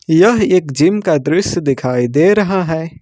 यह एक जिम का दृश्य दिखाई दे रहा है।